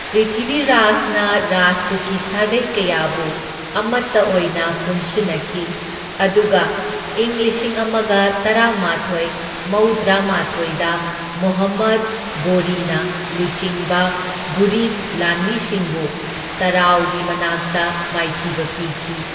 ꯄ꯭ꯔꯤꯊꯤꯚꯤꯔꯥꯖꯅ ꯔꯥꯖꯄꯨꯠꯀꯤ ꯁꯥꯒꯩ ꯀꯌꯥꯕꯨ ꯑꯃꯇ ꯑꯣꯏꯅ ꯄꯨꯟꯁꯤꯟꯅꯈꯤ, ꯑꯗꯨꯒ ꯏꯪ ꯂꯤꯁꯤꯡ ꯑꯃꯒ ꯇꯔꯥꯃꯥꯊꯣꯢ ꯃꯧꯗ꯭ꯔꯥ ꯃꯥꯊꯣꯢꯗ ꯃꯨꯍꯝꯃꯗ ꯘꯣꯔꯤꯅ ꯂꯨꯆꯤꯡꯕ ꯘꯨꯔꯤꯗ ꯂꯥꯟꯃꯤꯁꯤꯡꯕꯨ ꯇꯔꯥꯎꯔꯤ ꯃꯅꯥꯛꯇ ꯃꯥꯏꯊꯤꯕ ꯄꯤꯈꯤ꯫